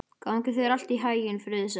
Gangi þér allt í haginn, Friðsemd.